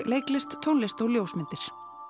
leiklist tónlist og ljósmyndir